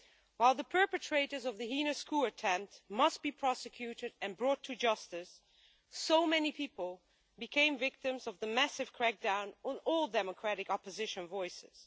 While the perpetrators of the heinous coup attempt must be prosecuted and brought to justice, many, many people have become victims of the massive crackdown on all democratic opposition voices.